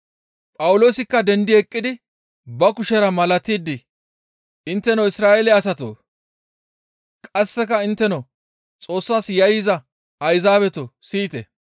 Phawuloosikka dendi eqqidi ba kushera malatidi, «Intteno Isra7eele asatoo! Qasseka intteno Xoossas yayyiza Ayzaabetoo! siyite.